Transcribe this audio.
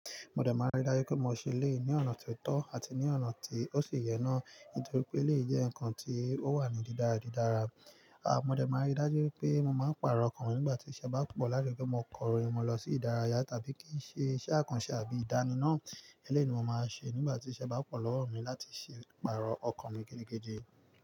Mo dẹ máa rí i dájú pé mo ṣe ilé ní ọ̀nà tó tọ́ àti ní ọ̀nà tí ó sì yẹ náà nítorí pé ilé jẹ́ nǹkan tí ó wà ní dídáradídára. A mo dẹ máa rí i dájú pé mo máa pààrọ̀ ọkọ̀ mi nígbà tí ṣẹ́ bá pọ̀ láti gbé ọkọ̀ rẹ mọ lọ sí ìdárayá tàbí kí í ṣe iṣẹ́ àkànṣe àbí ìdánimọ̀. Eléyio ni mo máa n ṣe nígbà tí iṣẹ́ bá pọ̀ lọ́wọ́ mi láti ṣe pààrọ̀ ọkan gidigidi.